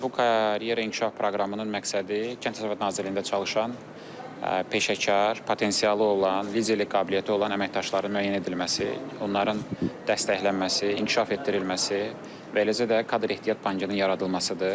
Bu karyera inkişaf proqramının məqsədi kənd təsərrüfatı nazirliyində çalışan peşəkar, potensialı olan, liderlik qabiliyyəti olan əməkdaşların müəyyən edilməsi, onların dəstəklənməsi, inkişaf etdirilməsi və eləcə də kadr ehtiyat bankının yaradılmasıdır.